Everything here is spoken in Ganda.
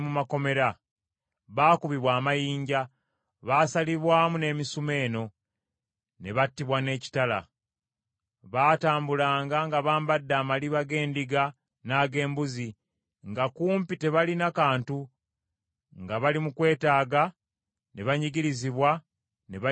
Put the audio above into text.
Baakubibwa amayinja, baasalibwamu n’emisumeeno, ne battibwa n’ekitala. Baatambulanga nga bambadde amaliba g’endiga n’ag’embuzi nga kumpi tebalina kantu, nga bali mu kwetaaga, ne banyigirizibwa, ne bayisibwa bubi,